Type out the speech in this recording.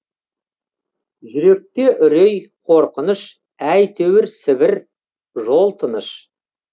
жүректе үрей қорқыныш әйтеуір сібір жол тыныш